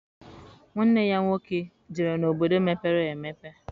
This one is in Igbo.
Nwanne ya nwoke jere n'obodo mepere emepe